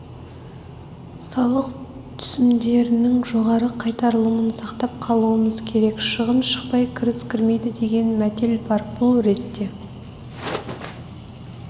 салық түсімдерінің жоғары қайтарылымын сақтап қалуымыз керек шығын шықпай кіріс крімейді деген мәтел бар бұл ретте